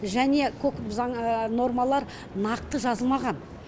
және көп заң нормалар нақты жазылмаған